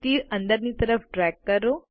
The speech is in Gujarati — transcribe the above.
તીર અંદરની તરફ ડ્રેગ કરો